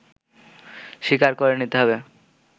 স্বীকার করে নিতে হবে